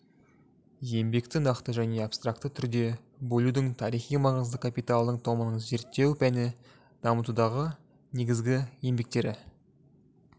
еңбекті нақты және абстракты түрде бөлудің тарихи маңызы капиталдың томының зерттеу пәні дамытудағы негізгі еңбектері